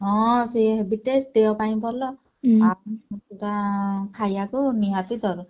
ହଁ ସିଏ ଦେହ ପାଇଁ ଭଲ ଖାଇବାକୁ ନିହାତି ଜରୁରୀ।